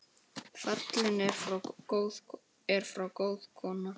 Fallin er frá góð kona.